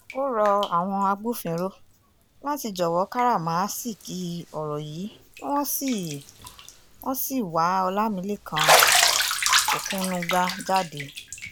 ó rọ àwọn agbófinró láti jọ̀wọ́ káràmáásìkí ọ̀rọ̀ yìí kí wọ́n sì wọ́n sì wa ọlámilẹ́kan òkunuga jáde